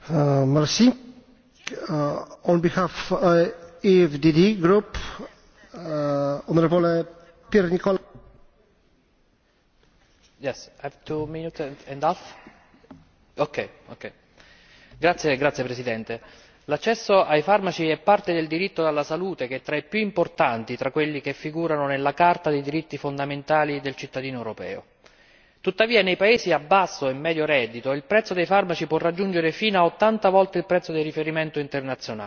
Signor Presidente, onorevoli colleghi, l'accesso ai farmaci è parte del diritto alla salute che è tra i più importanti tra quelli che figurano nella Carta dei diritti fondamentali del cittadino europeo. Tuttavia, nei paesi a basso e medio reddito, il prezzo dei farmaci può raggiungere fino a 80 volte il prezzo di riferimento internazionale.